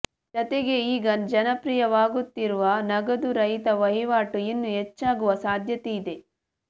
ಜತೆಗೆ ಈಗ ಜನಪ್ರಿಯವಾಗುತ್ತಿರುವ ನಗದು ರಹಿತ ವಹಿವಾಟು ಇನ್ನೂ ಹೆಚ್ಚಾಗುವ ಸಾಧ್ಯತೆಯಿದೆ